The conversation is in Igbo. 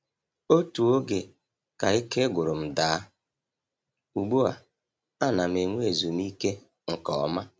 Otu oge ka ike gwụrụ m daa, ugbu a ana m enwe ezumike nke ọma.